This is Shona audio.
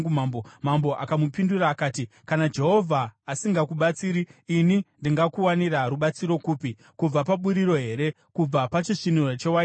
Mambo akamupindura akati, “Kana Jehovha asingakubatsiri ini ndingakuwanira rubatsiro kupi? Kubva paburiro here? Kubva pachisviniro chewaini here?”